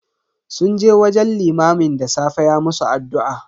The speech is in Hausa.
Sun je wajen limamin da safe ya musu addu'a.